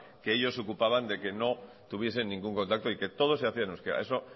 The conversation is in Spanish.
que ellos se preocupaban que no tuviesen ningún contacto y que todo se hacía en euskera eso